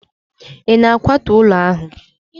ị na-akwatu ụlọ ahụ?